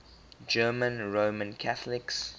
german roman catholics